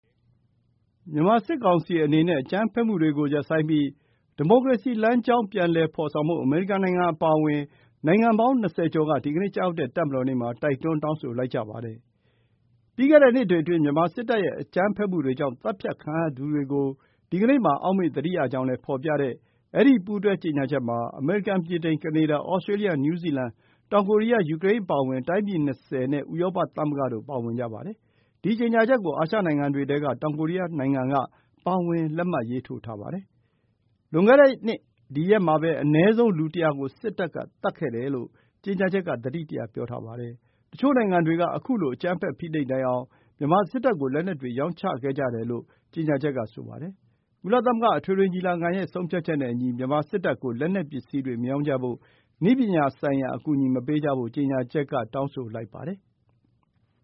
မြန်မာစစ်ကောင်စီအနေနဲ့ အကြမ်းဖက်မှုတွေကို ရပ်ဆိုင်းပြီး ဒီမိုကရေစီလမ်းကြောင်း ပြန်လည်ဖော်ဆောင်ဖို့ အမေရိကန် အပါအဝင် နိုင်ငံပေါင်း ၂၀ က ဒီကနေ့ကျရောက်တဲ့ တပ်မတော်နေ့မှာ တိုက်တွန်း တောင်းဆိုလိုက်ကြပါတယ်။ ပြီးခဲ့တဲ့နှစ်တွေအတွင်း မြန်မာစစ်တပ်ရဲ့ အကြမ်းဖက်မှုတွေကြောင့် သတ်ဖြတ်ခံရသူတွေကို ဒီကနေ့မှာ အောက်မေ့သတိရကြောင်းလည်း ဖော်ပြတဲ့ အဲဒီ ပူးတွဲကြေညာချက်မှာ အမေရိကန်၊ ဗြိတိန်၊ ကနေဒါ၊ ဩစတြေးလျ၊ နယူးဇီလန်၊ တောင်ကိုရီးယား၊ ယူကရိန်း အပါအဝင် တိုင်းပြည် ၂၀ နဲ့ ဥရောပသမဂ္ဂတို့ ပါဝင်ကြပါတယ်။ ဒီကြေညာချက်ကို အာရှနိုင်ငံတွေထဲက တောင်ကိုရီးယားနိုင်ငံ ပါဝင် လက်မှတ်ရေးထိုးထားပါတယ်။ လွန်ခဲ့တဲ့နှစ် ဒီရက်မှာပဲ အနည်းဆုံး လူ ၁၀၀ ကို စစ်တပ်က သတ်ခဲ့တယ်လို့ ကြေညာချက်က သတိတရ ပြောထားပါတယ်။ တချို့နိုင်ငံတွေက ခုလို အကြမ်းဖက်၊ ဖိနှိပ်နိုင်အောင် မြန်မာစစ်တပ်ကို လက်နက်တွေ ရောင်းချခဲ့ကြတယ်လို့ ကြေညာချက်က ဆိုပါတယ်။ ကုလသမဂ္ဂ အထွေထွေညီလာခံရဲ့ ဆုံးဖြတ်ချက်နဲ့အညီ မြန်မာစစ်တပ်ကို လက်နက်ပစ္စည်းတွေ မရောင်းကြဖို့၊ နည်းပညာဆိုင်ရာ အကူအညီ မပေးကြဖို့ ကြေညာချက်က တောင်းဆိုလိုက်ပါတယ်။